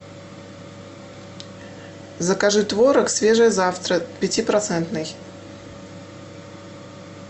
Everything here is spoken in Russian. закажи творог свежий завтрак пятипроцентный